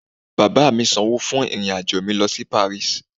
Baba mi sańwo fún irin ajọ mi lo si paris